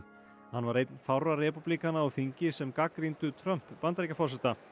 hann var einn fárra repúblíkana á þingi sem gagnrýndu Trump Bandaríkjaforseta